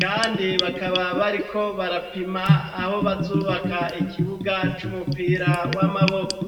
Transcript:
Kandi bakaba bariko barapima aho bazubaka ikibuga c'umupira w'amaboko.